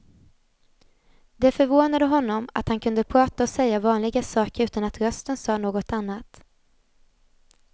Det förvånade honom att han kunde prata och säga vanliga saker utan att rösten sa något annat.